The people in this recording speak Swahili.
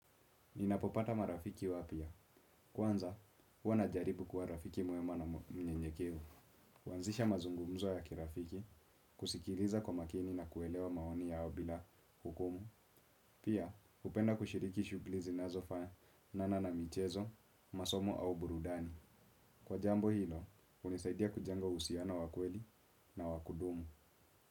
Ninapopata marafiki wapya, kwanza, huwa najaribu kwa rafiki mwema na mnyenyekevu. Huanzisha mazungumzo ya kirafiki, husikiliza kwa makini na kuelewa maoni yao bila hukumu. Pia, hupenda kushiriki shughuli zinazo fanana na michezo, masomo au burudani. Kwa jambo hilo, hunisaidia kujenga uhusiano wa kweli na wakudumu.